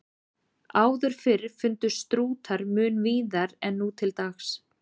Áður fyrr fundust strútar mun víðar en nú til dags.